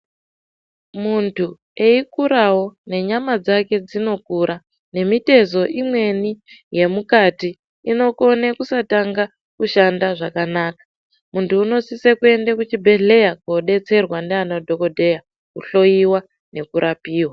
Muntu eyikurawo nenyama dzake dzinokura, nemitezo imweni yemukati inokone kusatanga kushanda zvakanaka. Muntu unosise kuyenda kuchibhedhleya kunodetserwa nde anadhokodheya kuhloyiwa nekurapiwa.